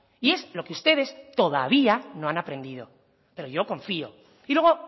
y es lo que ustedes todavía no han aprendido pero yo confío y luego